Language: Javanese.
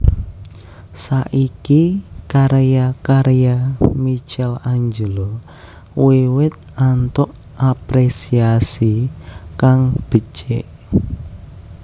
Saiki karya karya Michaelangelo wiwit antuk aprésiasi kang becik